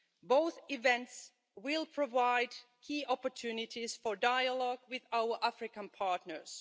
Both events will provide key opportunities for dialogue with our African partners.